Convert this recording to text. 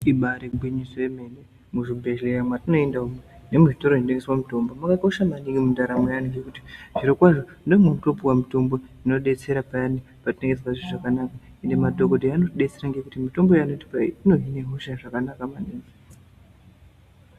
Ibari gwinyiso yemene muzvibhedhleya mwatinoenda umu mune zvitora zvinotengese mutombo mwakakosha maningi mundaramo yaantu ngekuti zviro kwazvo mune munotopuwa mutombo inodetsera payani patinenge tisazwi zvakanaka Ende madhokodheya anotidetsera ngekuti mitombo yaanotipa iyi inohine hosha zvakanaka maningi.